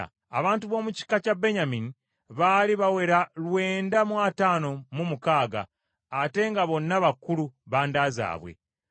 Abantu b’omu kika kya Benyamini, baali bawera lwenda mu ataano mu mukaaga, ate nga bonna bakulu ba nda zaabwe.